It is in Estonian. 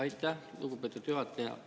Aitäh, lugupeetud juhataja!